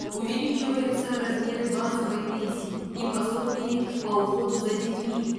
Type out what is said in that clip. увеличиваются размеры базовой пенсии и пособий по уходу за детьми